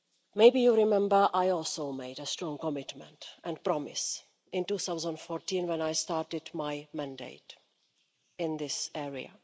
Maybe you remember I also made a strong commitment and promise in 2014, when I started my mandate in this area.